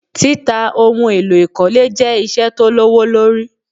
Títa ohun èlò ìkọ́lé jẹ́ ìṣe tó lówó lori